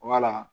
Wala